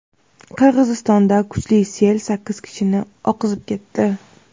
Qirg‘izistonda kuchli sel sakkiz kishini oqizib ketdi.